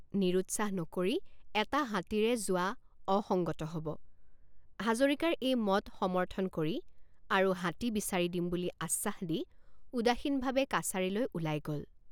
নিৰুৎসাহ নকৰি এটা হাতীৰে যোৱা অসঙ্গত হ'ব হাজৰিকাৰ এই মত সমৰ্থন কৰি আৰু হাতী বিচাৰি দিম বুলি আশ্বাস দি উদাসীনভাৱে কাছাৰীলৈ ওলাই গ'ল।